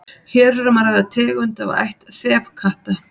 hér er um að ræða tegund af ætt þefkatta